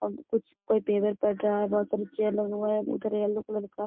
आ कुछ कोई पेपर पढ़ रहा है बहुत सारी चेयर लगा हुआ है उधर येलो कलर का।